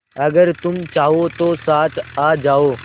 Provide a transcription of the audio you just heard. अगर तुम चाहो तो साथ आ जाओ